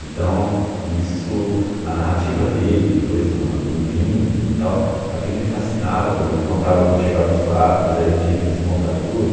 Então, isso, a narrativa dele, depois de um a de um vinho e tal, aquilo me fascinava, como ele contava como chegavam os quadros, aí ele tinha que desmontar tudo.